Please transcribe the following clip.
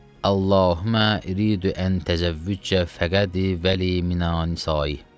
Allahummə riidü ən təzəvvücə fəqədi vəli minə nisayi.